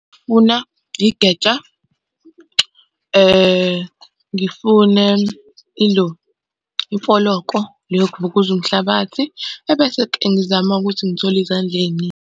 Ngifuna igeja, ngifune ilo imfoloko le yokuvukuza umhlabathi. Ebese-ke ngizame ukuthi ngithole izandla ey'ningi.